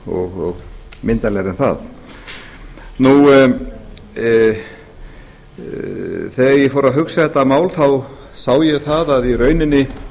og myndarlegri en það þegar ég fór að hugsa þetta mál sá ég það að í rauninni